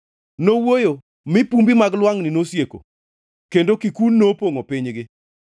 Nowuoyo, mi pumbi mag lwangʼni nosieko, kendo kikun nopongʼo pinygi.